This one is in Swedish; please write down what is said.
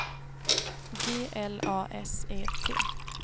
G L A S E T